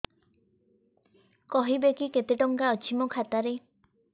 କହିବେକି କେତେ ଟଙ୍କା ଅଛି ମୋ ଖାତା ରେ